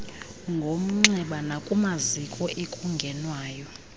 ngomnxeba nakumaziko ekungenwayo